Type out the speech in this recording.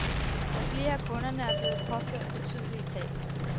Og flere af kunderne er blevet påført betydelige tab.